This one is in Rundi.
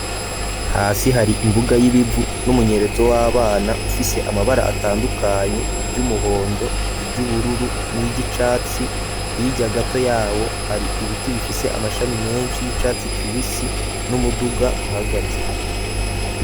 Hasi hari imbuga y'ibivu n'umunyerezo w'abana ufise amabara atandukanye iryu muhondo, iryu bururu, niryi catsi hirya gato yawo hari ibiti bifise amashami meshi y'icatsi kibisi n'umuduga uhagaze.